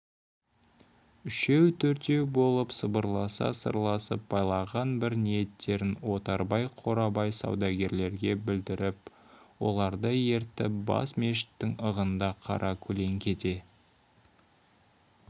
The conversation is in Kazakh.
үшеу-төртеу болып сыбырласа сырласып байлаған бір ниеттерін отарбай қорабай саудагерлерге білдіріп оларды ертіп бас мешіттің ығында қара көлеңкеде